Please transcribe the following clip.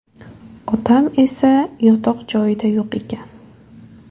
Otam esa yotoq joyida yo‘q ekan.